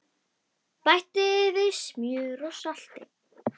Bætti við smjöri og salti.